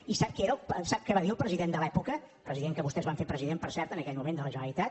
i sap què va dir el president de l’època president que vostès van fer president per cert en aquell moment de la generalitat